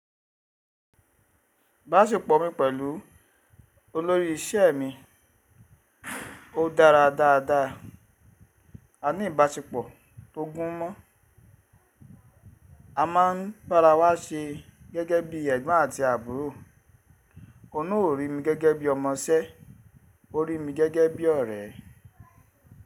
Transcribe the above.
Ìbáṣepọ̀ mi pẹ̀lú olórí ìṣe mi ó dára dáadáa. A ní ìbáṣepọ̀ tó gún mọ́. A máa ń bára wa ṣe gẹ́gẹ́ bí ẹ̀gbọ́n àti àbúrò. Ó náà ò rí mi gẹ́gẹ́ bí ọmọṣẹ́, ó rí mi gẹ́gẹ́ bí ọ̀rẹ́.